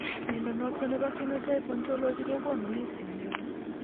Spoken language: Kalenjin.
Mnyondo noton nebo Phenotype Ontology kogonu listiit nebo